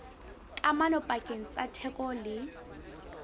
kamano pakeng tsa theko le